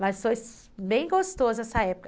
Mas foi bem gostoso essa época.